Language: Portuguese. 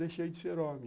Deixei de ser homem.